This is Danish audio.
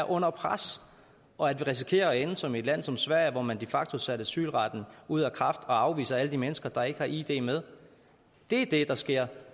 under pres og at vi risikerer at ende som et land som sverige hvor man de facto har sat asylretten ud af kraft og afviser alle de mennesker der ikke har id med det er det der sker